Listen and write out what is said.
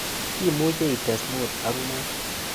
Imuche ites mut ak mut